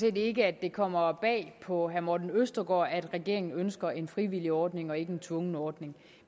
set ikke det kommer bag på herre morten østergaard at regeringen ønsker en frivillig ordning og ikke en tvungen ordning